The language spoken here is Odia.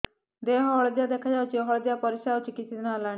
ଦେହ ହଳଦିଆ ଦେଖାଯାଉଛି ହଳଦିଆ ପରିଶ୍ରା ହେଉଛି କିଛିଦିନ ହେଲାଣି